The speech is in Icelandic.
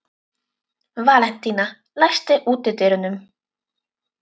Valentína, læstu útidyrunum.